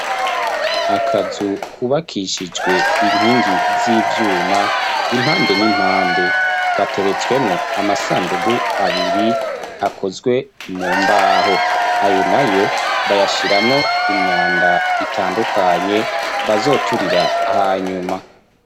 Akazu kubakishijwe inkingi z'ivyuma, impande n'impande gateretswemwo amasandugu abiri akozwe mu mbaho, ayo nayo bayashiramwo imyanda itandukanye, bazoturira hanyuma.